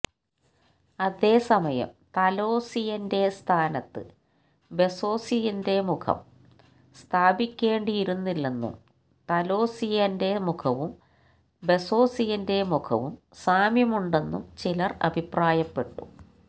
അതേസമയം താലോസിയന്റെ സ്ഥാനത്ത് ബെസോസിന്റെ മുഖം സ്ഥാപിക്കേണ്ടിയിരുന്നില്ലെന്നും താലോസിയന്റെ മുഖവും ബെസോസിന്റെ മുഖവും സാമ്യമുണ്ടെന്നും ചിലര് അഭിപ്രായപ്പെട്ടു